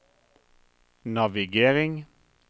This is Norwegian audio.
navigering